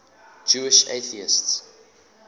jewish atheists